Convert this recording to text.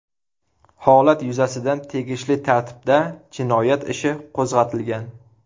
Holat yuzasidan tegishli tartibda jinoyat ishi qo‘zg‘atilgan.